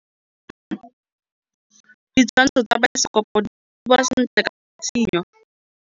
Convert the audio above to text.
Ditshwantshô tsa biosekopo di bonagala sentle ka tshitshinyô.